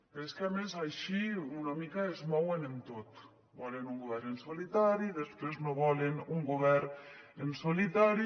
però és que a més així una mica es com mouen en tot volen un govern en solitari i després no volen un govern en solitari